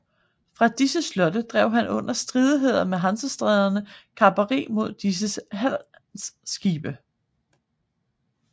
Fra disse slotte drev han under stridigheder med Hansestæderne kaperi mod disses handelsskibe